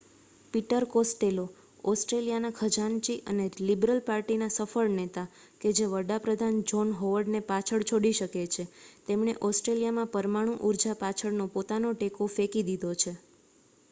Peter Costello ઓસ્ટ્રેલિયાના ખજાનચી અને લિબરલ પાર્ટીના સફળ નેતા કે જે વડા પ્રધાન જ્હોન હોવર્ડ ને પાછળ છોડી શકે છે તેમણે ઓસ્ટ્રેલિયામાં પરમાણુ ઉર્જા પાછળનો પોતાનો ટેકો ફેંકી દીધો છે